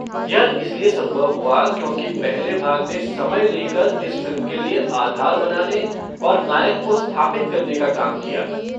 यह इसलिए संभव हुआ क्योंकि पहले भाग ने समय ले कर इस फ़िल्म के लिए आधार बनाने और नायक को स्थापित करने का काम किया।